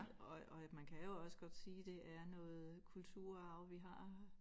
Og at og at man kan jo også godt sige det er noget kulturarv vi har